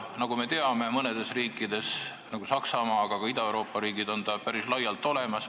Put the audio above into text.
Nagu me teame, mõnedes riikides, nagu Saksamaa, aga ka Ida-Euroopa riigid, on see olemas.